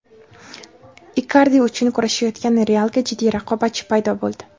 Ikardi uchun kurashayotgan "Real"ga jiddiy raqobatchi paydo bo‘ldi.